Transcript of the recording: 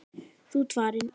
Þú ert farinn.